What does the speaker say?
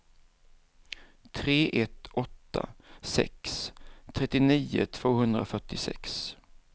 tre ett åtta sex trettionio tvåhundrafyrtiosex